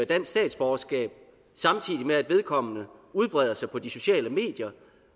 dansk statsborgerskab samtidig med at vedkommende udbreder sig på de sociale medier